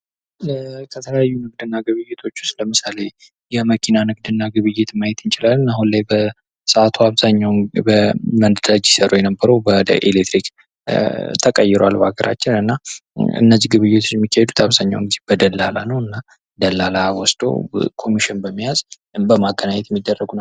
ከተለያዩ ንግድ እና ግብይቶች ዉስጥ ለምሳሌ የመኪና ንግድና ግብይትን ማየት እንችላለን። አሁን ላይ በሰዓቱ አብዛኛዉን በነዳጅ ሲሰሩ የነበሩ ወደ ኤሌክትሪክ ተቀይረዋል። በአገራችን እነዚህ ግብይቶች የሚካሄዱትአብዛኛዉን ጊዜ በደላላ ነዉ። እና ደላላ ወስዶ ኮሚሽን በመያዝ በማገናኘት የሚደረጉ ናቸዉ።